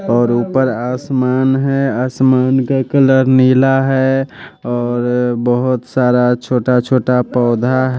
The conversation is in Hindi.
और ऊपर आसमान है आसमान का कलर नीला है और बहोत सारा छोटा छोटा पौधा--